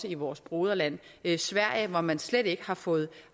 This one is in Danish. i vores broderland sverige hvor man slet ikke har fået